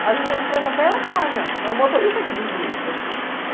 Às vezes a empresa até ela paga, mas o motorista é que desvia no percurso.